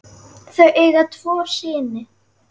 Þau eiga tvo syni.